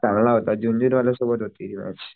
चांगला होता जंजिरा वाल्यांसोबत होती हि मॅच.